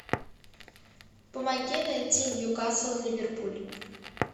помоги найти ньюкасл ливерпуль